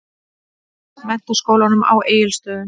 Menntaskólanum á Egilsstöðum.